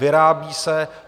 Vyrábějí se.